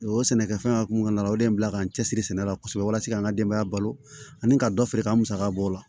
O sɛnɛkɛfɛn hukumu kɔnɔna la o de ye n bila ka n cɛ siri sɛnɛ la kosɛbɛ walasa k'an ka denbaya balo ani ka dɔ feere ka musaka bɔ o la